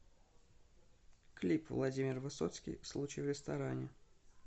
клип владимир высоцкий случай в ресторане